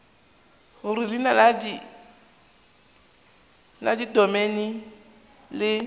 gore leina la domeine le